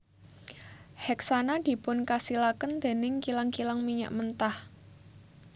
Heksana dipunkasilaken dèning kilang kilang minyak mentah